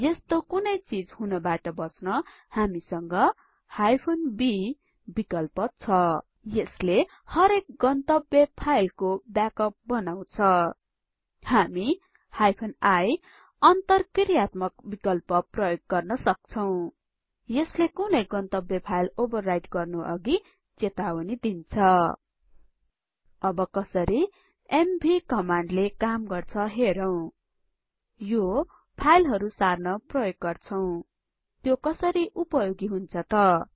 यस्तो कुनै चिज हुनबाट बच्न हामीसंग b विकल्प छ यसले हरेक गन्तब्य फाइलको ब्याकअप बनाउछ हामी iअन्तरक्रियात्मकविकल्प प्रयोग गर्न सक्छौं यसले कुनै गन्तब्य फाइल ओवरराइट गर्नु अघि चेतावनी दिन्छ अब कसरी एमवी कमान्डले काम गर्छ हेरौं यो फाइलहरु सार्न प्रयोग गर्छौं त्यो कसरी उपयोगी हुन्छ त